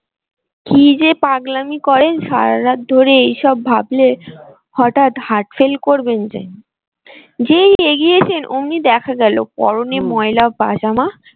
কি যে পাগলামি করেন সারারাত ধরে এইসব ভাবলে হঠাৎ heart fail করবেন যে যেই এগিয়েছেন অমনি দেখা গেলো পরনে ময়লা পাজামা।